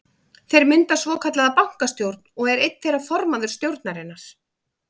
Þeir mynda svokallaða bankastjórn og er einn þeirra formaður stjórnarinnar.